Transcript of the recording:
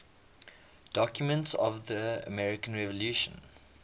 documents of the american revolution